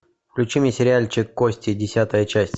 включи мне сериальчик кости десятая часть